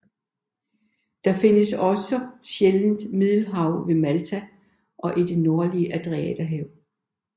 Den findes også sjældent i Middelhavet ved Malta og i det nordlige Adriaterhav